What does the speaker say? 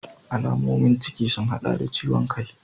Alamomin ciki sun hada da ciwon kai.